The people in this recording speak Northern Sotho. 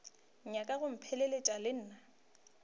nyaka go mpheleletša le nna